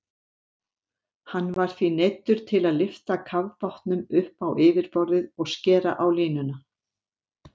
Hann var því neyddur til að lyfta kafbátnum upp á yfirborðið og skera á línuna.